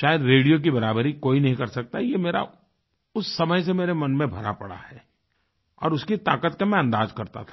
शायद रेडियो की बराबरी कोई नहीं कर सकता ये मेरा उस समय से मेरे मन में भरा पड़ा है और उसकी ताकत का मैं अंदाज करता था